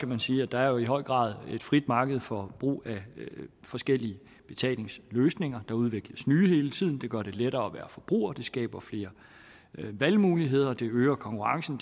man sige at der jo i høj grad er et frit marked for brug af forskellige betalingsløsninger der udvikles nye hele tiden og det gør det lettere at være forbruger det skaber flere valgmuligheder det øger konkurrencen